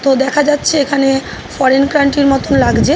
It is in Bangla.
তো দেখা যাচ্ছে এখানে ফরেন কান্ট্রি -র মতো লাগছে।